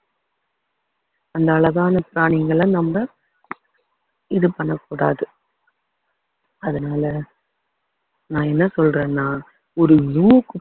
அந்த அழகான பிராணிங்களை நம்ம இது பண்ண கூடாது அதனால நான் என்ன சொல்றேன்னா ஒரு ஊருக்கு